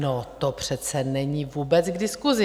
No, to přece není vůbec k diskusi!